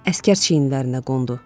Əsgər çiyinlərinə qondu.